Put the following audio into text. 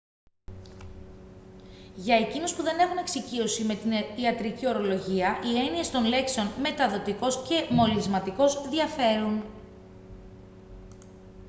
για εκείνους που δεν έχουν εξοικείωση με την ιατρική ορολογία οι έννοιες των λέξεων «μεταδοτικός» και «μολυσματικός» διαφέρουν